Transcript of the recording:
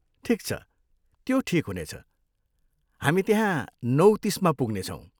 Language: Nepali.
ठिक छ, त्यो ठिक हुनेछ, हामी त्यहाँ नौ तिसमा पुग्नेछौँ।